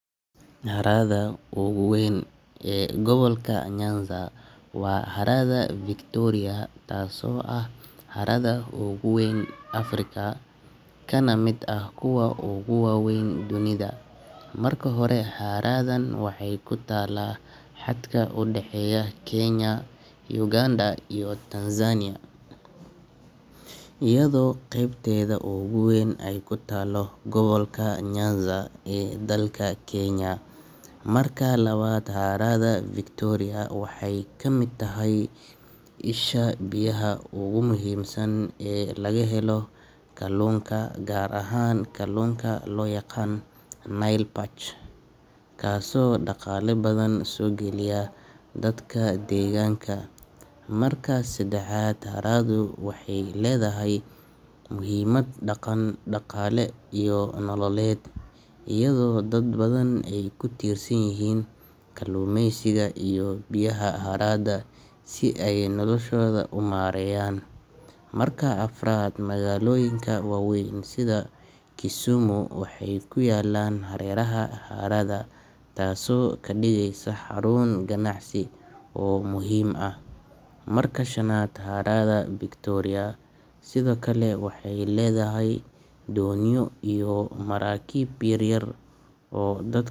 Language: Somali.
Harada ugu weyn ee gobolka Nyanza waa harada Victoria taaso ah harada ugu weyn Africa kaana mid ah kuwa ugu waweyn dunida hada kahore haradan waxe kutala haadka udaaheyo Kenya Ugand iyo Tanzania iyadho qebteeda ugu weyn ku taalo gawalka Nyanza ee dalka Kenya marka lawad harada Victoria waaxey ka mid taahay iisha biyaha ugu muhim saan ee laga helo kalunka gar ahaan kalunka lo yaqaan Nile Perch kaaso daqala badaan so giliya dadka degaanka marka sedaaxad harada waxey ledahay muhimad daqale iyo nololed iyadho daad badan ku tirsan yihin kalumeysiga iyo biyaha haraada sii ey noloshoda umareyan marka afaarad magaloyinka waweyn sidhaa Kisumu waxey ku yelaan harerada harada taas oo ka diigeysa xarun ganacsi oo muhim ah marka shanaad harada Victoria sidhoo kale waxey ledahay doonyo iyo marakib yaryar oo daadka.